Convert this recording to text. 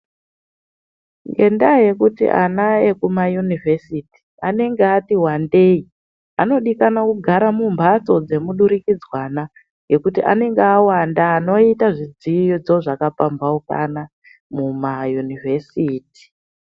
Ngendaa yekuti ana ekumayunivhesiti anenge ati wandei, anodikanwa kugara mumbatso dzemudurikidzwana ngekuti anenge awanda anoita zvidzidzo zvakapambukana mumayunivhesiti.